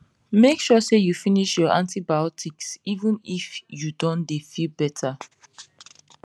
make sure say you finish your antibiotics even if you don dey feel better